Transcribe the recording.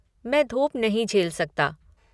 मैं धूप नहीं झेल सकता।